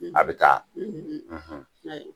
A bi taa